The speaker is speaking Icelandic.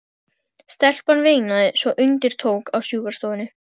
Stelpan veinaði svo undir tók á sjúkrastofunni.